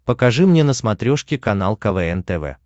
покажи мне на смотрешке канал квн тв